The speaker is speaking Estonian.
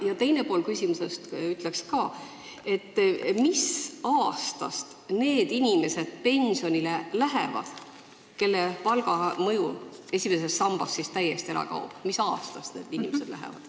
Ja teine pool küsimusest: mis aastal lähevad pensionile esimesed inimesed, kellel palga mõju esimeses sambas täiesti ära kaob?